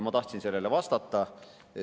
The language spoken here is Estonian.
Ma tahtsin sellele vastata.